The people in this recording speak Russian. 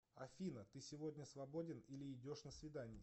афина ты сегодня свободен или идешь на свидание